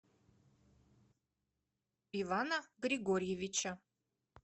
ивана григорьевича